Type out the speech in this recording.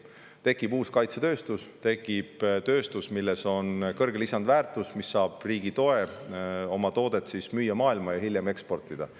Tekib uus kaitsetööstus, tekib tööstus, mis loob kõrget lisandväärtust, mis saab riigi toe, et müüa oma toodet maailma ja hiljem eksportida.